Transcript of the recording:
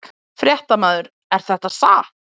Fréttamaður: Er þetta satt?